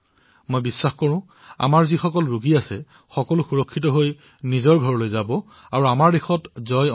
মোৰ বিশ্বাস যে যিমানবোৰ ৰোগী আহিছে তেওঁলোক আটাইয়ে সুস্থ হৈ নিজৰ ঘৰলৈ যাবগৈ আৰু আমি এই যুদ্ধতো বিজয়ী হম